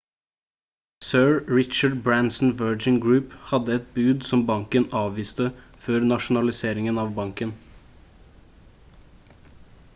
sir richard bransons virgin group hadde et bud som banken avviste før nasjonaliseringen av banken